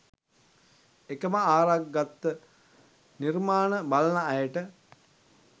එකම ආරක් ගත්ත නිර්මාණ බලන අයට